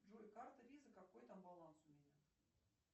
джой карта виза какой там баланс у меня